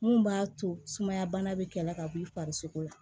Mun b'a to sumaya bana be kɛlɛ la ka b'i farisoko la